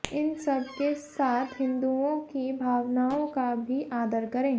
इन सबके साथ हिंदूआें की भावनाआें का भी आदर करें